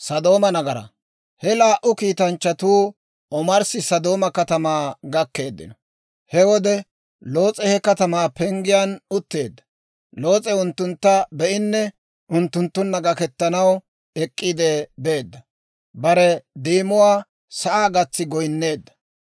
He laa"u kiitanchchatuu omarssi Sodooma katamaa gakkeeddino; he wode Loos'e he katamaa penggiyaan utteedda. Loos'e unttuntta be'inne unttunttunna gaketanaw ek'k'iide beedda; bare deemuwaa sa'aa gatsiide goyneedda;